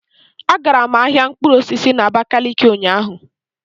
Agara m ahịa mkpụrụ osisi na abakaliki ụnyaahụ.